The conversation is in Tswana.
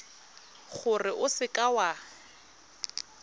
gore o seka w a